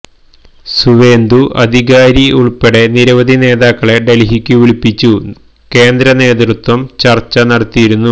സുവേന്ദു അധികാരി ഉൾപ്പെടെ നിരവധി നേതാക്കളെ ഡൽഹിക്കു വിളിപ്പിച്ചു കേന്ദ്രനേതൃത്വം ചർച്ച നടത്തിയിരുന്നു